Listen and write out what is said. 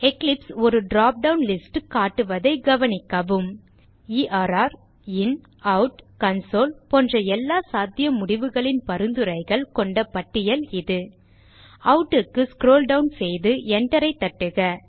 Eclipse ஒரு drop down list காட்டுவதை கவனிக்கவும் எர் inoutகன்சோல் போன்ற எல்லா சாத்திய முடிவுகளின் பரிந்துரைகள் கொண்ட பட்டியல் இது out க்கு ஸ்க்ரோல் டவுன் செய்து Enter தட்டுக